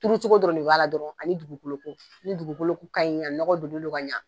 Turucogo dɔrɔn ne b'a la dɔrɔn ani dugu ni dugukolo ko ni dugukolo kaɲi a nɔgɔ donnen n'o ka ɲa